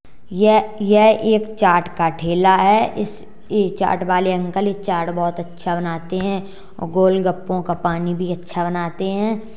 यह- यह एक चाट का ठेला है इस चाट वाले अंकल चाट बहोत अच्छा बनाते हैं और गोलगप्पों का पानी भी अच्छा बनाते हैं।